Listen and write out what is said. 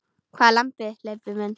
Hvað er þetta, Leibbi minn.